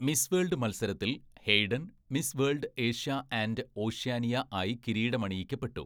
Miss World മത്സരത്തിൽ Hayden, 'Miss World Asia and Oceania' ആയി കിരീടമണിയിക്കപ്പെട്ടു.